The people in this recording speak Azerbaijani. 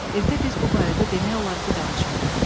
Evdə biz bu barədə demək olar ki, danışmırıq.